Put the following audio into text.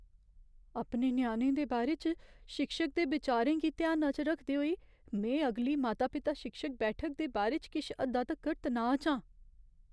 अपने ञ्याणे दे बारे च शिक्षक दे बिचारें गी ध्याना च रखदे होई में अगली माता पिता शिक्षक बैठक दे बारे च किश हद्दा तगर तनाऽ च आं।